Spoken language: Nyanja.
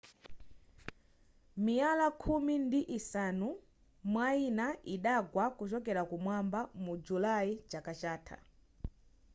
miyala khumi ndi isanu mwayina idagwa kuchokera kumwamba mu julayi chaka chatha